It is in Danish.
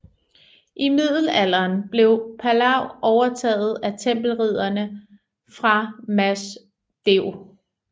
I Middelalderen blev Palau overtaget af Tempelridderne fra Mas Deu